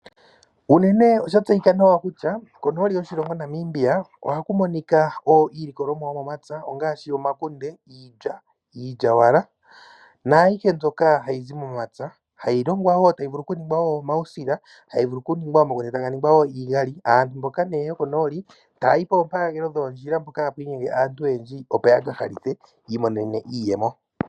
Unene oshatseyika nawa kutya konooli yoshilongo Namibia ohaku monika iilikolomwa yomomapya ongaashi omakunde, iilya, iilyawala naayihe mbyoka hayi zi momapya, hayi longwa wo tayi vulu kuningwa omausila, hayi vulu okuningwa omakunde taga ningwa wo iigali. Aantu mboka nee yokonooli taya yi poompaagelo dhoondjila mpoka hapu monika aantu oyendji opo ya ka halithe yi imonene iiyemo